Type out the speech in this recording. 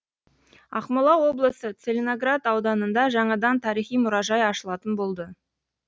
ақмола облысы целиноград ауданында жаңадан тарихи мұражай ашылатын болды